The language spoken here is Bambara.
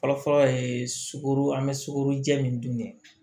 Fɔlɔfɔlɔ ye sukoro an bɛ sukoro jɛ min dun ni